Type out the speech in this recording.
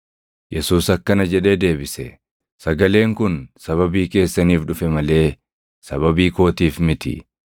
Yesuus akkana jedhee deebise; “Sagaleen kun sababii keessaniif dhufe malee sababii kootiif miti.